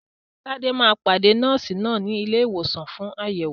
Tade máa pàdé Nọ́ọ̀sì náà ní ilé ìwòsàn fún àyẹ̀wò.